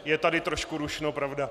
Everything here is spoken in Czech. Je tady trošku rušno, pravda.